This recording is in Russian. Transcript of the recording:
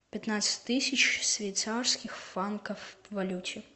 пятнадцать тысяч швейцарских франков в валюте